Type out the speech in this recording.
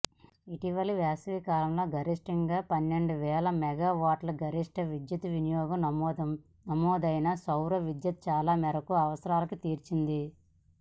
ఇటీవలి వేసవికాలంలో గరిష్టంగా పన్నెండువేల మెగావాట్ల గరిష్ట విద్యుత్ వినియోగం నమోదైనా సౌర విద్యుత్ చాలా మేరకు అవసరాలను తీర్చింది